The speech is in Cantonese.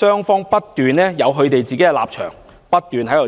各有立場，不斷爭拗。